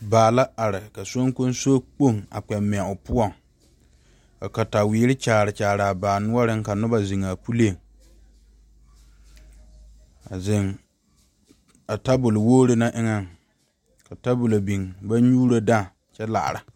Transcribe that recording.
Baa la are ka soŋkoso kpoŋ a kpɛ mɛ o poɔ ka katawire kyaare Kyaara baa noɔre ka noba zeŋ a puli a zeŋ a tabol wogre naŋ eŋa ka tabol biŋ ka ba nyuuro dãã kyɛ laare.